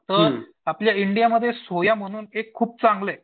तर आपल्या इंडियामध्ये एक सोयाम्हणून एक खूप चांगलं ये.